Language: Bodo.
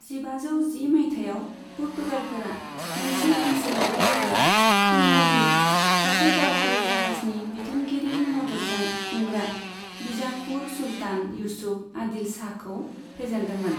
जिबाजौ जि मायथाइयाव, पुर्तगालफोरा मोनसे ओनसोलारि लोगो, टिम'जी, सासे दावहारु जाहाजनि बिथोनगिरिनि मददजों खुंग्रा बीजापुर सुल्तान इउसुफ आदिल शाहखौ फेजेनदोंमोन।